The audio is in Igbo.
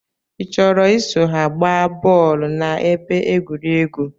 I chọrọ iso ha gbaa bọọlu na ebe egwuregwu?